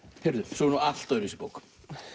svo er allt öðruvísi bók